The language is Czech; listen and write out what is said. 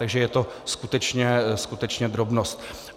Takže je to skutečně, skutečně drobnost.